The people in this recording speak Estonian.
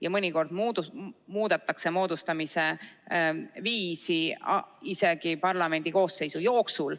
Ja mõnikord muudetakse moodustamise viisi isegi parlamendi koosseisu jooksul.